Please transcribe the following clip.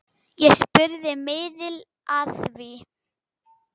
Ég spurði miðil að því.